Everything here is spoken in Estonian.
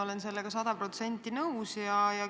Olen sellega sada protsenti nõus.